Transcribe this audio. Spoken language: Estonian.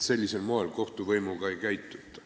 Sellisel moel kohtuvõimuga ei käituta.